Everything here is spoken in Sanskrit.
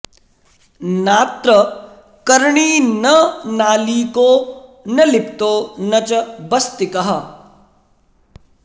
नात्र कर्णी न नालीको न लिप्तो न च बस्तिकः